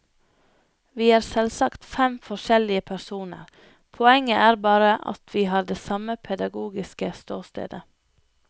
Vi er selvsagt fem forskjellige personer, poenget er bare at vi har det samme pedagogiske ståstedet.